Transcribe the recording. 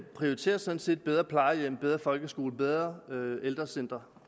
prioriterer sådan set bedre plejehjem bedre folkeskole bedre ældrecentre